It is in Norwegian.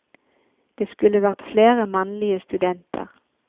Det skulle vært flere mannlige studenter.